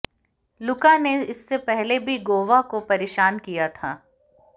लुका ने इससे पहले भी गोवा को परेशान किया था